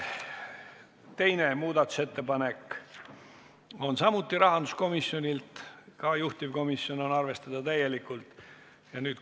Teine muudatusettepanek on samuti rahanduskomisjonilt, ka seda on juhtivkomisjon täielikult arvestanud.